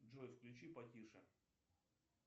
джой включи потише